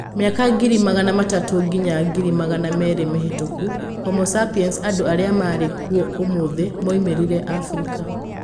Mĩaka Ngiri magana matatũ nginya Ngiri magana meerĩ mĩhĩtũku: Homo sapiens - andũ arĩa marĩ kuo ũmũthĩ - moimĩrire Afrika.